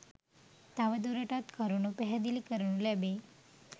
තවදුරටත් කරුණු පැහැදිලි කරනු ලැබේ.